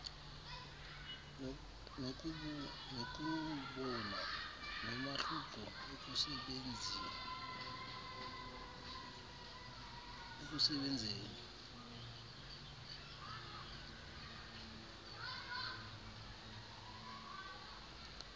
nokuwubona nomahluko ekusebenzieni